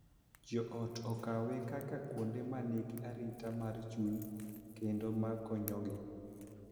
Jo ot okawe kaka kuonde ma nigi arita mar chuny kendo ma konyogi,